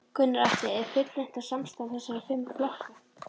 Gunnar Atli: Er fullreynt með samstarf þessara fimm flokka?